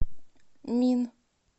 мин